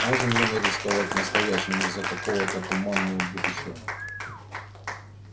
можем ли мы рисковать настоящим из-за какого-то туманного будущего